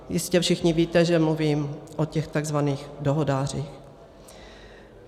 Jistě všichni víte, že mluvím o těch takzvaných dohodářích.